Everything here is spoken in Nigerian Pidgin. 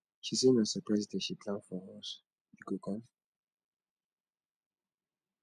she say na surprise date she dey plan for us you go come